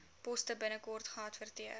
poste binnekort geadverteer